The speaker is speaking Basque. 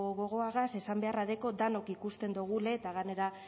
gogoagaz esan beharra dekot denok ikusten dogule eta ganera